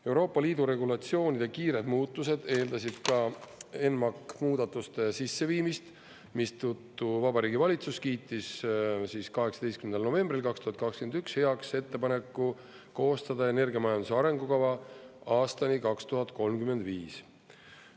Euroopa Liidu regulatsioonide kiired muutused eeldasid ka ENMAK muudatuste sisseviimist, mistõttu Vabariigi Valitsus kiitis 18. novembril 2021 heaks ettepaneku koostada energiamajanduse arengukava aastani 2035.